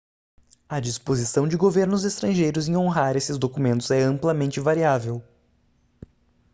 a disposição de governos estrangeiros em honrar esses documentos é amplamente variável